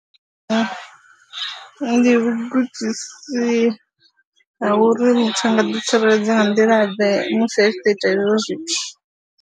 Ndi vhugudisi ha uri muthu a nga ḓitsireledza nga nḓilaḓe musi a tshi ḓo ita hezwo zwithu.